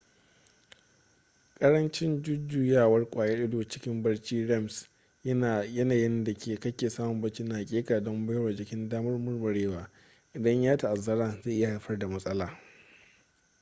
karancin jujuyawar kwayar ido cikin barci rems yanayin da kake samun bacci na hakika don baiwa jiki damar murmurewa idan ya ta’azzara zai iya haifar da matsala